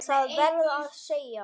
Það verð ég að segja.